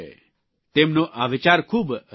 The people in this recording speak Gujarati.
તેમનો આ વિચાર ખૂબ રસપ્રદ છે